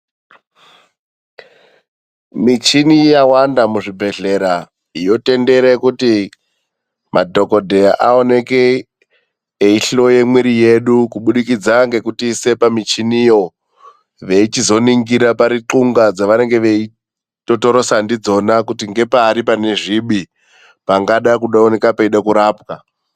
Michini yawanda muzvibhedhlera yotendere kuti madhokoteya aonekwe eihloya mwiri yedu kubudikidza nekutiisa pamuchini iyo veizoningira paruxunga ravanenge veitotorosana naro kuti ndepari pane zvibi pangaoneke peida kurapwa.